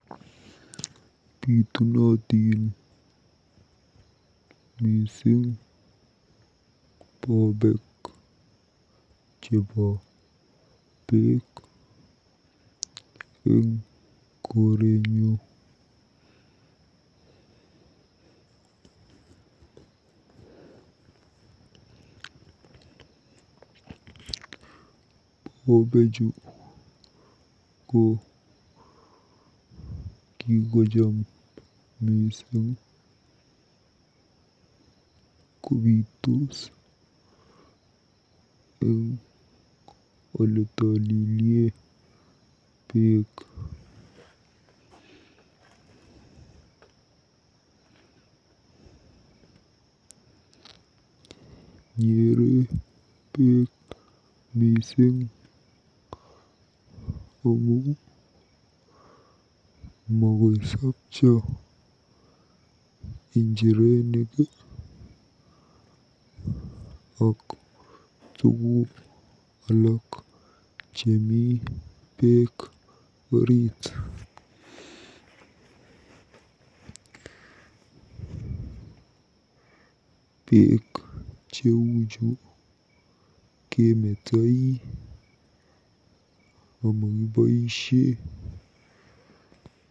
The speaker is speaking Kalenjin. Bitunotin mising bobeek chebo beek eng korenyu. Bobechu ko kikocham miising kobiitos eng oletolilye beek. Nyere beek mising ako makoisopcho injirenik ak tuguk alaak chemi beek orit. Beek cheuchu kemetoi amakiboisie.